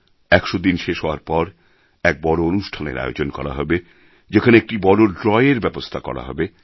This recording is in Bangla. একশো দিন শেষ হওয়ার পর এক বড় অনুষ্ঠানের আয়োজন করা হবে যেখানে একটি বড় ড্র এর ব্যবস্থা রাখা হবে